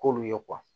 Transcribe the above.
K'olu ye